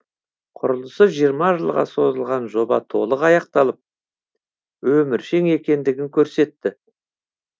құрылысы жиырма жылға созылған жоба толық аяқталып өміршең екендігін көрсетті